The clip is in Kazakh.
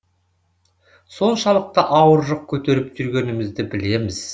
соншалықты ауыр жүк көтеріп жүргенімізді білеміз